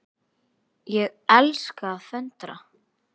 Ég elska að föndra.